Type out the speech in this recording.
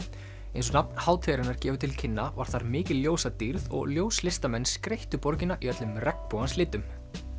eins og nafn hátíðarinnar gefur til kynna var þar mikil ljósadýrð og skreyttu borgina í öllum regnbogans litum